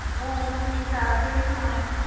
ਹੋਰ ਠੀਕ ਠਾਕ ਤੁਸੀ ਸੁਣਾਓ